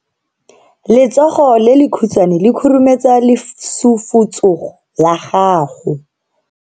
Letsogo le lekhutshwane le khurumetsa lesufutsogo la gago.